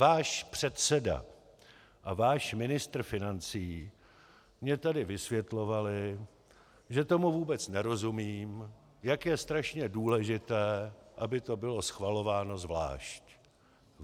Váš předseda a váš ministr financí mně tady vysvětlovali, že tomu vůbec nerozumím, jak je strašně důležité, aby to bylo schvalováno zvlášť.